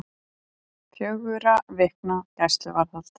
Fjögurra vikna gæsluvarðhald